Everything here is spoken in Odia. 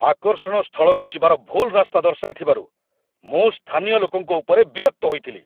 ଆକର୍ଷଣ ସ୍ଥଳକୁ ଯିବାର ଭୁଲ୍ ରାସ୍ତା ଦର୍ଶାଇଥିବାରୁ ମୁଁ ସ୍ଥାନୀୟ ଲୋକଙ୍କ ଉପରେ ବିରକ୍ତ ହୋଇଥିଲି।